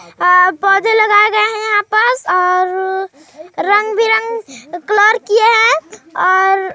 पौधे लगाए गए हैं यहाँ पास और रंग- बिरंग कलर किए हैं और--